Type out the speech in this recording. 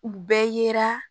U bɛɛ yera